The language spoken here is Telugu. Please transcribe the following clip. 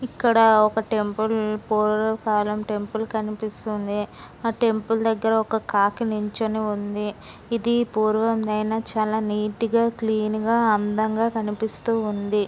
ఇక్కడ ఒక టెంపుల్ పూర్ కారం టెంపుల్ కనిపిస్తుంది ఆ టెంపుల్ దగ్గర ఒక కాకి నిల్చొని ఉంది అయినా చాలా నీట్ గా క్లీన్ గా అందంగా కనిపిస్తోంది.